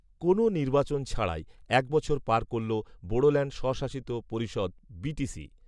কোনও নির্বাচন ছাড়াই এক বছর পার করল বোড়োল্যাণ্ড স্বশাসিত পরিষদ, বিটিসি